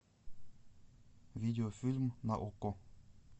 видео фильм на окко